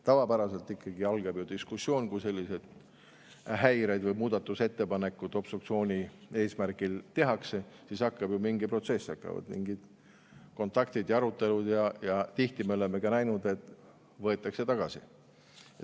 Tavapäraselt ikkagi algab ju diskussioon, kui selliseid häireid või muudatusettepanekuid obstruktsiooni eesmärgil tehakse, siis algab ju mingi protsess, algavad mingid kontaktid ja arutelud ja tihti me oleme ka näinud, et võetakse tagasi.